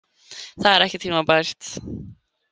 Það er ekki tímabært.